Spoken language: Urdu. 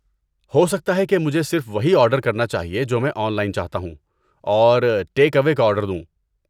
ہو سکتا ہے کہ مجھے صرف وہی آرڈر کرنا چاہیے جو میں آن لائن چاہتا ہوں اور ٹیک اوے کا آرڈر دوں۔